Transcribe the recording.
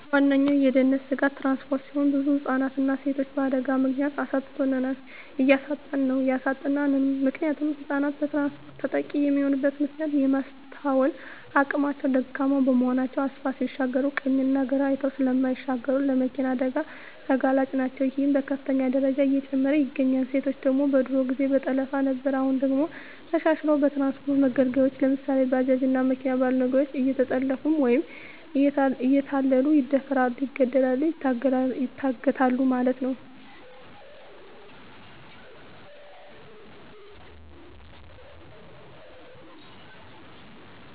ዋነኛዉ የድህንነት ስጋት ትራንስፖርት ሲሆን ብዙ ህፃናትንና ሴቶችን በአደጋ ምክንያት አሳጥቶናል እያሳጣን ነዉ ያሳጣናልም። ምክንያቱም ህፃናት በትራንስፖርት ተጠቂ የሚሆኑበት ምክንያት የማስትዋል አቅማቸዉ ደካማ በመሆናቸዉ አስፓልት ሲሻገሩ ቀኝና ግራ አይተዉ ስለማይሻገሩ ለመኪና አደጋ ተጋላጭ ናቸዉ ይሄም በከፍተኛ ደረጃ እየጨመረ ይገኛል። ሴቶች ደግሞ በድሮ ጊዜ በጠለፋ ነበር አሁን ደግሞ ተሻሽልሎ በትራንስፖርት መገልገያወች ለምሳሌ፦ ባጃጅ እና መኪና ባሉ ነገሮች እየተጠለፊፉ ወይም እየተታለሉ ይደፈራሉ ይገደላሉ ይታገታሉ ማለት ነዉ።